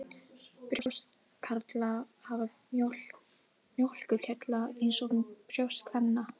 Brjóst karla hafa mjólkurkirtla eins og brjóst kvenna.